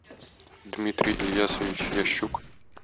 дмитрий ильясович ящук